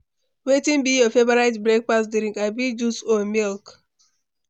Wetin be your favorite breakfast drink, abi juice or milk?